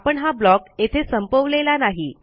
आपण हा ब्लॉक येथे संपवलेला नाही